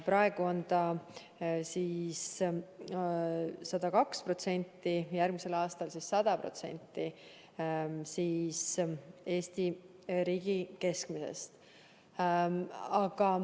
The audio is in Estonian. Praegu on see 102% ja järgmisel aastal 100% Eesti riigi keskmisest.